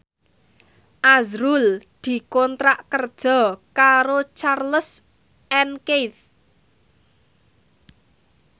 azrul dikontrak kerja karo Charles and Keith